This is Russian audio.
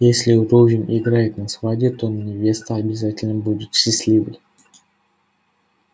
если рувим играет на свадьбе то невеста обязательно будет счастливой